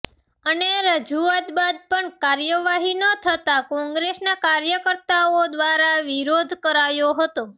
અને રજૂઆત બાદ પણ કાર્યવાહી ન થતા કોંગ્રેસના કાર્યકર્તાઓ દ્વારા વિરોધ કરાયો હતો